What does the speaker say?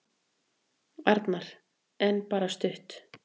Arnar: En bara stutt.